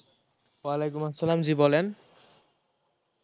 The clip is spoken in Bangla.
ওয়ালাইকুম আচ্ছালাম, জী বলেন